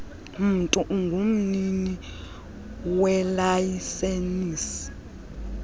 mntu ungumnini welayisenisi